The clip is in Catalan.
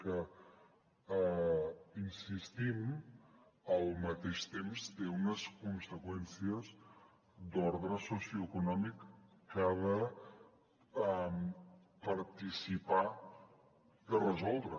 que hi insistim al mateix temps té unes conseqüències d’ordre socioeconòmic que ha de participar de resoldre